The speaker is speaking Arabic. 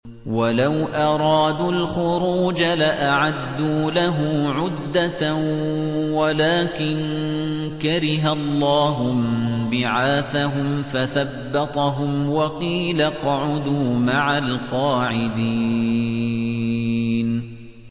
۞ وَلَوْ أَرَادُوا الْخُرُوجَ لَأَعَدُّوا لَهُ عُدَّةً وَلَٰكِن كَرِهَ اللَّهُ انبِعَاثَهُمْ فَثَبَّطَهُمْ وَقِيلَ اقْعُدُوا مَعَ الْقَاعِدِينَ